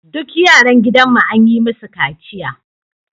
Duk yaran gidanmu an yi musu kaciya